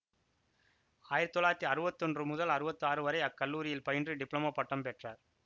ஆயிரத்தி தொள்ளாயிரத்தி அறுவத்தி ஒன்று முதல் அறுவத்தி ஆறு வரை அக்கல்லூரியில் பயின்று டிப்ளோமா பட்டம் பெற்றார்